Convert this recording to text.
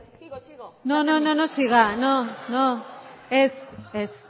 no no siga no ez ez